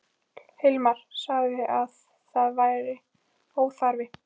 Hilmar sagði að það væri óþarfi.